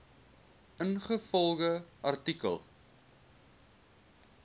ingevolge artikel